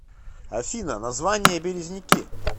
афина название березники